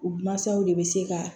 U mansaw de bɛ se ka